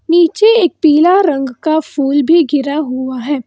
नीचे एक पीला रंग का फूल भी गिरा हुआ है।